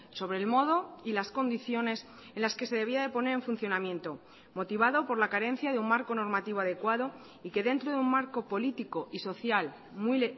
sobre el modo y las condiciones en las que se debía de poner en funcionamiento motivado por la carencia de un marco normativo adecuado y que dentro de un marco político y social muy